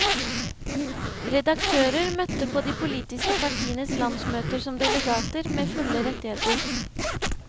Redaktører møtte på de politiske partienes landsmøter som delegater med fulle rettigheter.